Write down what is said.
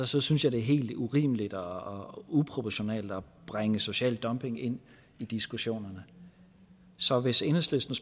så synes jeg det er helt urimeligt og uproportionalt at bringe social dumping ind i diskussionen så hvis enhedslisten